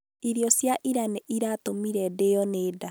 Irio cia ira nĩ iratũmire ndĩĩo nĩ nda.